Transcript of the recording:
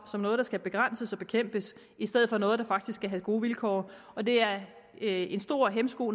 som noget der skal begrænses og bekæmpes i stedet for noget der faktisk skal have gode vilkår og det er en stor hæmsko